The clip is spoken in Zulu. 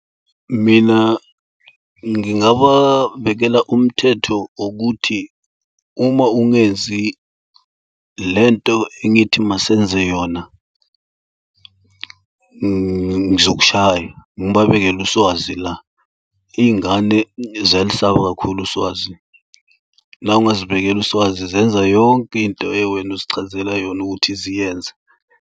Mina ngingababekela umthetho wokuthi uma ungenzi lento engithi masenze yona ngizokushaya, ngibabekele uswazi la. Iy'ngane ziyalisaba kakhulu uswazi. Na ungazibekela uswazi zenza yonke into eyiwena uzichazela yona ukuthi ziyenze.